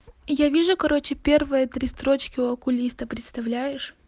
я вижу короче первые три строчки у окулиста представляешь